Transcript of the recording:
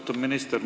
Austatud minister!